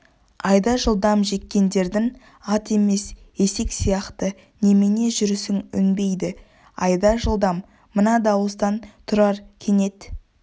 айда жылдам жеккендерің ат емес есек сияқты немене жүрісің өнбейді айда жылдам мына дауыстан тұрар кенет